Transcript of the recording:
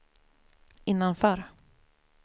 innanför